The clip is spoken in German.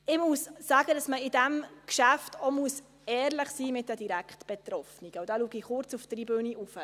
Ich muss sagen, dass man bei diesem Geschäft auch ehrlich sein muss mit den direkt Betroffenen, und da schaue ich kurz zur Tribüne hinauf.